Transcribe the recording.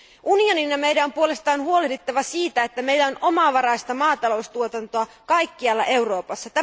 Unionin ja meidän on puolestaan huolehdittava siitä, että meillä on omavaraista maataloustuotantoa kaikkialla Euroopassa.